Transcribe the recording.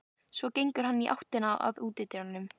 Svo gengur hann í áttina að útidyrunum.